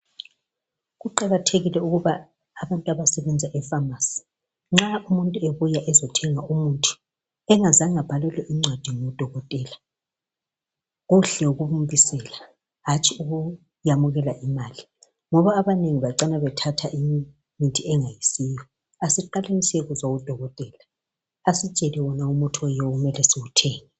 Kuqakathekile ukuba abantu abasebenza efamasi, nxa umuntu ebuya ezothenga umuthi, bengazange abhalelwe incwadi ngudokotela, kuhle ukumbisela hatshi ukuyamukela imali, ngoba abanengi bacina bethatha imithi engayisiyo, asiqaleni siyekuzwa udokotela asitshele umuthi oyiwo okumele siwuthenge.